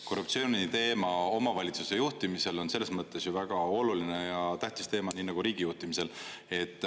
Korruptsiooniteema omavalitsuse juhtimisel on selles mõttes ju väga oluline ja tähtis teema, nii nagu riigi juhtimisel.